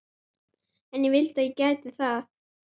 Stöku klettur minnti á halla turninn í Písa.